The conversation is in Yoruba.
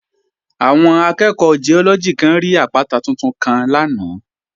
Àwọn akẹ́ẹ̀kọ́ Giọ́lọ́gì kan rí àpáta tuntun kan lánàá